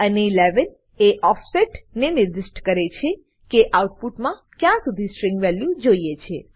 અને 11 એ ઓફસેટ ને નિર્દિષ્ટ કરે છે કે આઉટપુટમા ક્યાં સુધી સ્ટ્રીંગ વેલ્યુ જોઈએ છે